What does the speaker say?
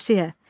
Tövsiyə.